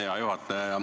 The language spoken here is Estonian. Hea juhataja!